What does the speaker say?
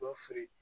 Dɔ feere